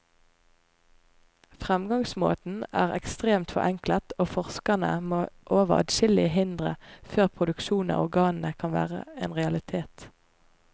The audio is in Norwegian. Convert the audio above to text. Fremgangsmåten er ekstremt forenklet, og forskerne må over adskillige hindre før produksjon av organene kan være en realitet.